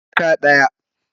Jaka daya